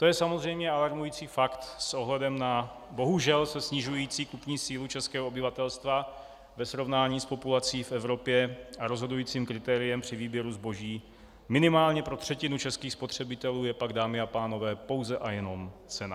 To je samozřejmě alarmující fakt s ohledem na bohužel se snižující kupní sílu českého obyvatelstva ve srovnání s populací v Evropě, a rozhodujícím kritériem při výběru zboží minimálně pro třetinu českých spotřebitelů je pak, dámy a pánové, pouze a jenom cena.